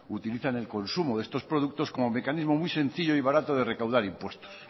utilizan el consumo de estos productos como mecanismo muy sencillo y barato de recaudar impuestos